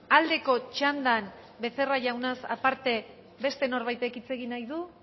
aldeko txandan becerra jaunaz aparte beste norbaitek hitz egin nahi du